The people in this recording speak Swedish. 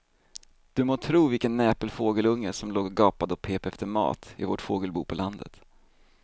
Du må tro vilken näpen fågelunge som låg och gapade och pep efter mat i vårt fågelbo på landet.